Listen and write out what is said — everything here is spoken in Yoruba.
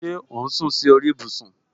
Ṣé o sún si ori ibusun